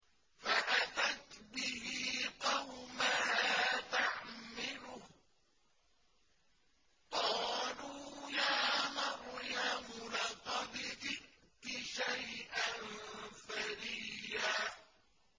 فَأَتَتْ بِهِ قَوْمَهَا تَحْمِلُهُ ۖ قَالُوا يَا مَرْيَمُ لَقَدْ جِئْتِ شَيْئًا فَرِيًّا